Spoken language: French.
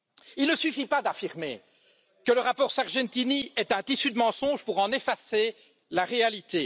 Il ne suffit pas d'affirmer que le rapport Sargentini est un tissu de mensonges pour en effacer la réalité.